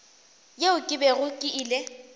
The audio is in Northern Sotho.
yeo ke bego ke ile